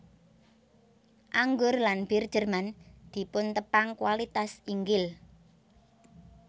Anggur lan bir Jerman dipuntepang kualitas inggil